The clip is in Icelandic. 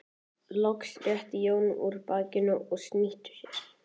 Loks rétti Jón úr bakinu og snýtti sér.